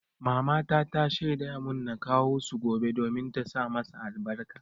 Mamata ta shaida mun na kawo su gobe domin ta sa masa albarka.